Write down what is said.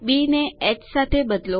બી ને હ સાથે બદલો